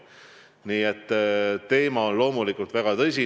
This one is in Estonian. Nii et teema on loomulikult väga tõsine.